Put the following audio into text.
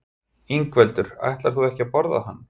Ingveldur: Ætlar þú ekki að borða hann?